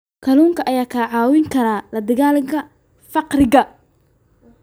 Kalluunka ayaa kaa caawin kara la dagaalanka faqriga.